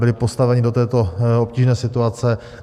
Byli postaveni do této obtížné situace.